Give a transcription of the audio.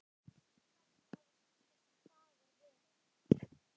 Hvernig hafa síðustu dagar verið?